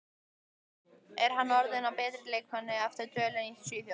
Er hann orðinn að betri leikmanni eftir dvölina í Svíþjóð?